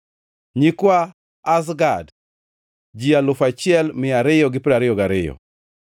nyikwa Azgad, ji alufu achiel mia ariyo gi piero ariyo gariyo (1,222),